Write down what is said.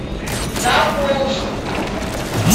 заволжск